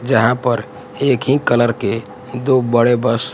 जहां पर एक ही कलर के दो बड़े बस --